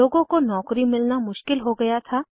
लोगों को नौकरी मिलना मुश्किल हो गया था